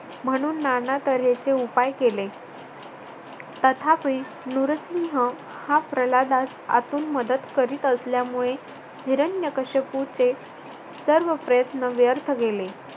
म्हणून नाना तारेचे उपाय केले. तथापि नुरसिंह प्रल्हादास आतून मदत करत असल्यामुळे हिरण्यकश्यपूचे सर्व प्रयत्न व्यर्थ गेले.